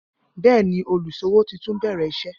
Bẹẹni, oluṣọwọ́ ti tun bẹ̀rẹ̀ iṣẹ̀.